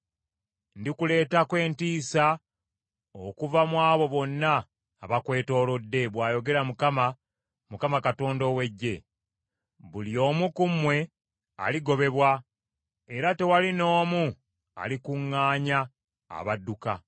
Ndikuleetako entiisa, okuva mu abo bonna abakwetoolodde,” bw’ayogera Mukama, Mukama Katonda ow’Eggye. “Buli omu ku mmwe aligobebwa, era tewali n’omu alikuŋŋaanya abadduka.